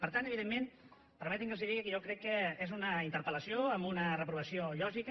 per tant evidentment permetinme que els digui que jo crec que és una interpel·lació amb una reprovació lògica